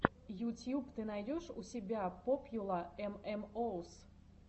ютьюб ты найдешь у себя попьюла эм эм оус